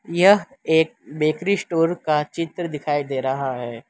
यह एक bakery store का चित्र दिखाई दे रहा है।